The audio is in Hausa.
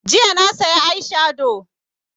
Jiya na saya eye shado